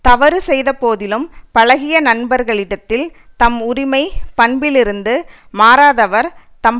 தவறு செய்த போதிலும்பழகிய நண்பரிடத்தில் தம் உரிமை பண்பிலிருந்து மாறாதவர் தம்